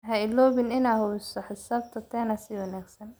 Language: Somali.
Ha iloobin inaad hubiso xisaabta tena si wanagsan.